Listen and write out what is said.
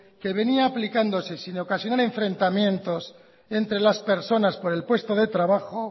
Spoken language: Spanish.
que venía aplicándose sin ocasionar enfrentamientos entre las personas por el puesto de trabajo